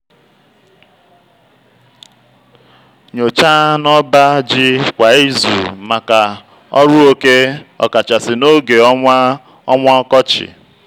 nyochaa n'ọba ji kwa izu maka ọrụ oke ọ kachasị n'oge ọnwa ọnwa ọkọchị.